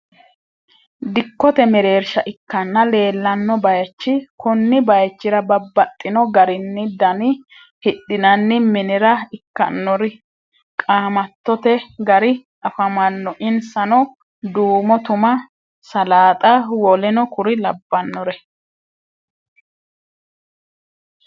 Dikkote mereersha ikkanna leellanno baaychi konni baaychira babbaxino garinna dani hidhinanni minira ikkannori qaamattote gari afamanno insano duumo tuma salaaxa w. k. l.